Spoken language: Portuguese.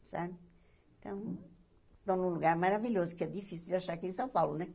Sabe então, estão num lugar maravilhoso, que é difícil de achar aqui em São Paulo, né?